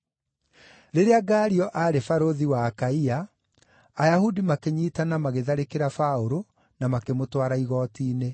Rĩrĩa Galio aarĩ barũthi wa Akaia, Ayahudi makĩnyiitana magĩtharĩkĩra Paũlũ na makĩmũtwara igooti-inĩ.